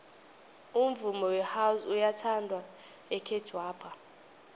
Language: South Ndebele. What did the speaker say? umvumo wehouse uyathandwa ekhethwapha